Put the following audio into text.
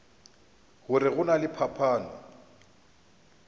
gore go na le phapano